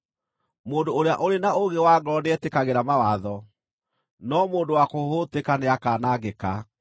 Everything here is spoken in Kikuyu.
Mũndũ ũrĩa ũrĩ na ũũgĩ wa ngoro nĩetĩkagĩra mawatho, no mũndũ wa kũhũhũtĩka nĩakanangĩka.